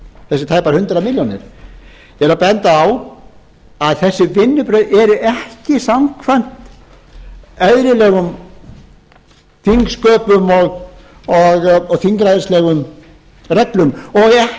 þessar tæpu hundrað milljónir ég er að benda á að þessi vinnubrögð eru ekki samkvæmt eðlilegum þingsköpum og þingræðislegum reglum og ekki eða